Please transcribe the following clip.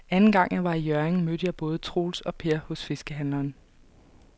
Anden gang jeg var i Hjørring, mødte jeg både Troels og Per hos fiskehandlerne.